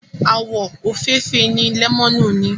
Àwọ̀ òfeefee ni lẹ́mọ́nù ní.